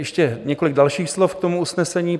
Ještě několik dalších slov k tomu usnesení.